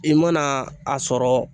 I mana a sɔrɔ